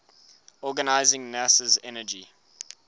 organizing nasa's energy